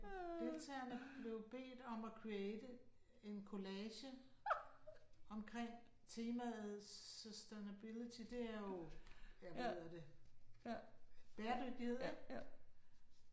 Deltagerne blev bedt om at create en kollage omkring temaet sustainability det er jo, ja hvad hedder der bæredygtighed, ik